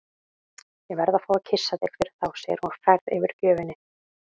Ég verð að fá að kyssa þig fyrir þá, segir hún hrærð yfir gjöfinni.